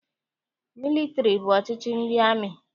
Mịlịtịrị bụ ọchịchị ndị amị.